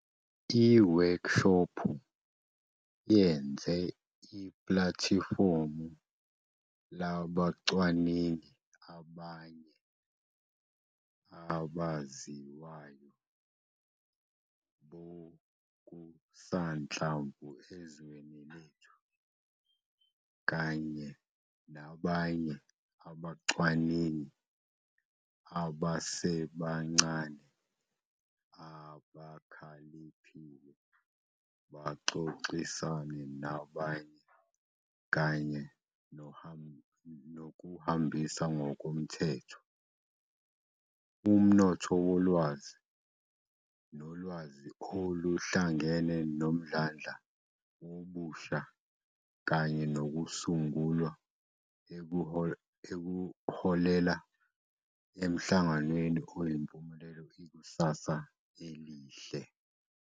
Iwekshophu yenze iplatifomu labachwaningi abanye abaziwayo bokusanhlamvu ezweni lethu, kanye nabanye abacwaningi abasebancane abakhaliphile baxoxisane nabanye kanye nohambisa ngokomthetho. Umnotho wolwazi nolwazi oluhlangene nomdlandla wobusha kanye nokusungula okuholela emhlanganweni oyimpumelelo ikusasa elihle.